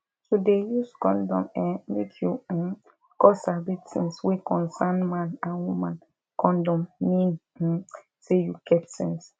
to dey use condom eh make you um come sabi tins wey concern man and woman condom mean um say you get sense